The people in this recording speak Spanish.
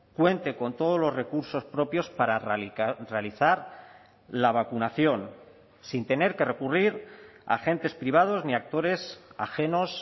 cuente con todos los recursos propios para realizar la vacunación sin tener que recurrir a agentes privados ni actores ajenos